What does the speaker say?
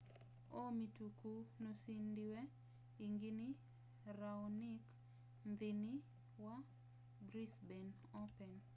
o mituki nusindiwe ingi ni raonic nthini wa brisbane open